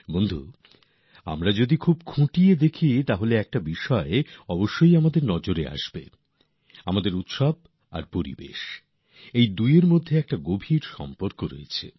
বন্ধুগণ আমরা যদি খুব নিবিড়ভাবে দেখি তাহলে একবার অবশ্যই আমাদের ভাবনাতে এই কথাটা আসবে যে আমাদের উৎসবের পর্ব এবং পরিবেশএই দুইয়ের মধ্যে এক গভীর সম্পর্ক রয়েছে